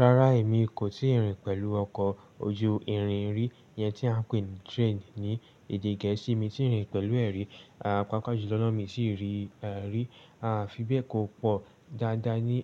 Rárá, èmi kò tíì rìn pẹ̀lú ọkọ̀ ojú irin rí, iyẹn tí a ń pè ní train ní èdè Gẹ̀ẹ́sì. Mi i tíì rìn pẹ̀lú ẹ̀ rí. Pápá jù lọ náà mi ti rí i rí, fi be kó pọ̀ dáadáa ní,